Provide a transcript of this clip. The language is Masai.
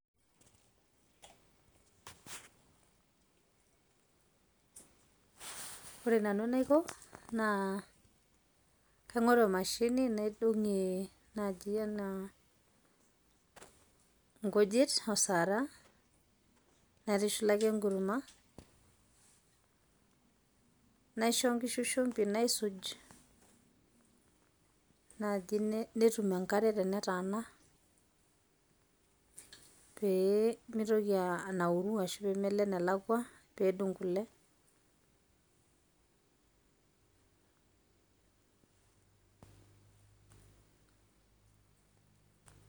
Ore nanu enaiko naa kaing'oru emashini naidong'ie naaji enaa nkujit o sara naitushulaki enkurma, naisho nkishu shumbi naisuj naaji netum enkare tenetaana pee mitoki anauru ashu peemelo enelakua pee edung' kule.